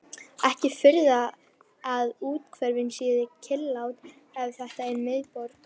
Ekki furða að úthverfin séu kyrrlát ef þetta er miðborg